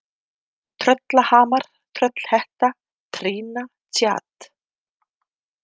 Tröllahamar, Tröllhetta, Trýna, Tsjad